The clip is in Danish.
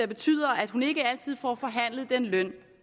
betyder at hun ikke altid får forhandlet den løn